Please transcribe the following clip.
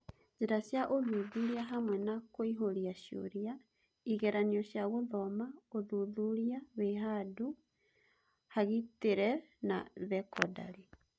Njĩra cia ũthuthuria hamwe na kũihũria cioria, igeranio cia gũthoma, ũthuthuria wĩhandũ hagĩtĩre, na Thekondarĩ.